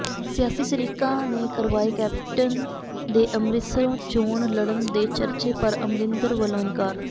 ਸਿਆਸੀ ਸ਼ਰੀਕਾਂ ਨੇ ਕਰਵਾਏ ਕੈਪਟਨ ਦੇ ਅੰਮ੍ਰਿਤਸਰੋਂ ਚੋਣ ਲੜਨ ਦੇ ਚਰਚੇ ਪਰ ਅਮਰਿੰਦਰ ਵਲੋਂ ਇਨਕਾਰ